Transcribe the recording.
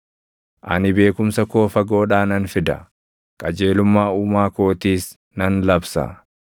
Ani beekumsa koo fagoodhaa nan fida; qajeelummaa Uumaa kootiis nan labsa.